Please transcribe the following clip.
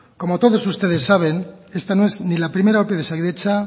como todos ustedes saben esta no es ni la primera ope de osakidetza